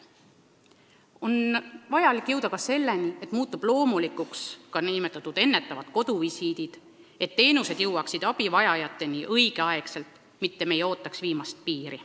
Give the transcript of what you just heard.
On vaja jõuda selleni, et loomulikuks muutuksid nn ennetavad koduvisiidid, et abivajajad saaksid teenuseid õigel ajal, mitte ei oodataks viimast piiri.